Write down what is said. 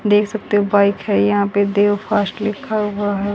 देख सकते हो बाइक है यहां पे देव फास्ट लिखा हुआ है।